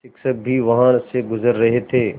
शिक्षक भी वहाँ से गुज़र रहे थे